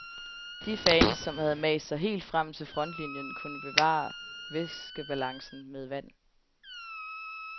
Defans, som havde mast sig helt frem til frontlinjen kunne bevare væskebalancen med vand.